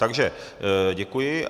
Takže děkuji.